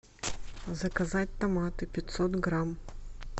заказать томаты пятьсот грамм